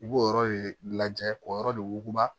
I b'o yɔrɔ de lajɛ k'o yɔrɔ de wuguba